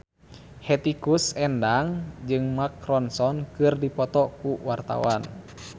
Hetty Koes Endang jeung Mark Ronson keur dipoto ku wartawan